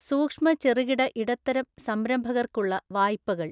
സൂക്ഷ്മചെറുകിടഇടത്തരംസംരംഭകര്ക്കുള്ളവായ്പകള്‍